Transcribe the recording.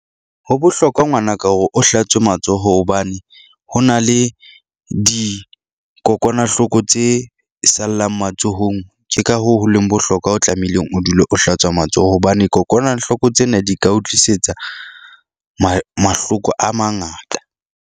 Ho bohlokwa ngwanaka hore o hlatswe matsoho hobane ho na le dikokwanahloko tse sallang matsohong. Ke ka hoo ho leng bohlokwa o tlamehileng o dule o hlatswa matsoho hobane kokwanahloko tsena di ka o tlisetsa mahloko a mangata.